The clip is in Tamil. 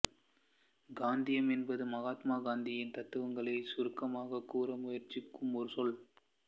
காந்தியம் என்பது மகாத்மா காந்தியின் தத்துவங்களை சுருக்கமாகக் கூற முயற்சிக்கும் ஒரு சொல்